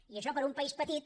i això per a un país petit